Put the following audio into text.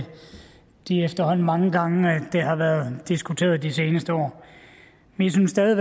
de efterhånden rigtig mange gange det har været diskuteret de seneste år vi synes stadig